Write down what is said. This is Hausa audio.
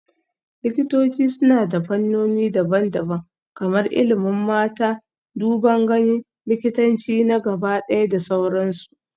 Likitoci suna da fannoni daban-daban kamar ilimin mata, duban gani, likitanci na gabaɗaya da sauransu